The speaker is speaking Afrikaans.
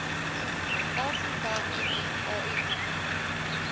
afrika unie au